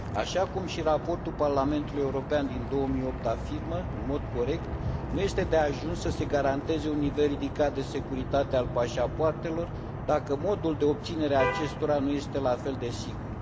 Așa cum și raportul Parlamentului European din 2008 afirmă în mod corect, nu este de ajuns să se garanteze un nivel ridicat de securitate al pașapoartelor dacă modul de obținere al acestora nu este la fel de sigur.